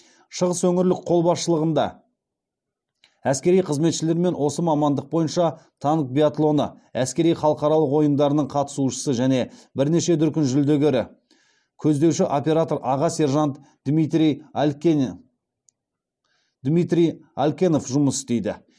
шығыс өңірлік қолбасшылығында әскери қызметшілермен осы мамандық бойынша танк биатлоны әскери халықаралық ойындарының қатысушысы және бірнеше дүркін жүлдегері көздеуші оператор аға сержант дмитрий алькенов жұмыс істейді